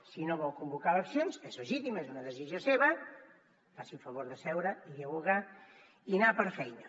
si no vol convocar eleccions que és legítim és una decisió seva faci el favor de seure dialogar i anar per feina